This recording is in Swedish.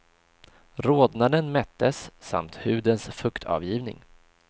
Rodnaden mättes, samt hudens fuktavgivning.